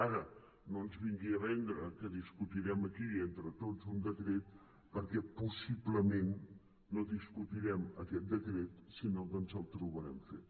ara no ens vingui a vendre que discutirem aquí entre tots un decret perquè possiblement no discutirem aquest decret sinó que ens el trobarem fet